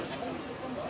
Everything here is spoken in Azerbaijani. Doymuram.